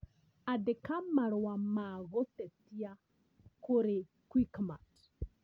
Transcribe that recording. Andĩka marũa ma gũtetia kũrĩ Quickmart